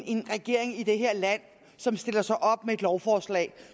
en regering i det her land som stiller sig op med et lovforslag